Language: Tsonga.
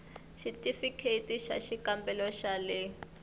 xitifikheyiti xa xikambelo xa le